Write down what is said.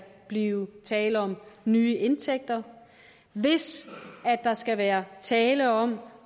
blive tale om nye indtægter hvis der skal være tale om